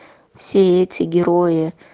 все эти герои